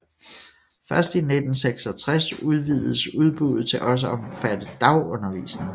Først i 1966 udvidedes udbuddet til også at omfatte dagundervisning